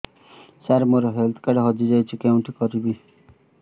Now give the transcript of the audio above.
ସାର ମୋର health card ହଜି ଯାଇଛି କେଉଁଠି କରିବି